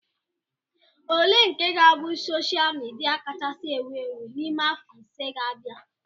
Ole nke ga-abụ sosha midia kachasị ewu ewu n'ime afọ ise ga-abia?